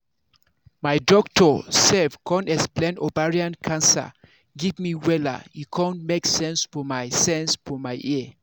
my doctor sef con explain ovarian cancer give me wella e con make sense for my sense for my ear